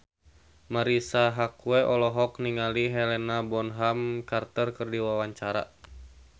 Marisa Haque olohok ningali Helena Bonham Carter keur diwawancara